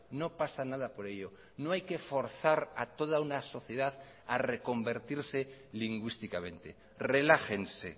no pasa nada por ello no hay que forzar a toda una sociedad a reconvertirse lingüísticamente relájense